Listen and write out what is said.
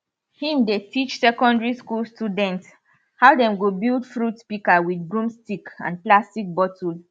him dey teach secondary school students how dem go build fruit pika with broomstick and plastic bottle